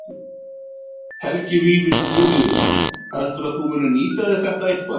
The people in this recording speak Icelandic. Helgi Vífill Júlíusson: Heldurðu að þú munir nýta þér þetta eitthvað?